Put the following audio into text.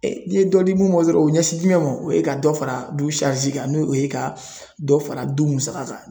n'i ye dɔ di mun ma dɔrɔn o bɛ ɲɛsin ma o ye ka dɔ fara du kan no o ye ka dɔ fara du musaka kan.